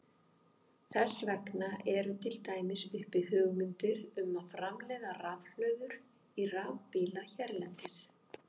Þess vegna eru til dæmis uppi hugmyndir um að framleiða rafhlöður í rafbíla hérlendis.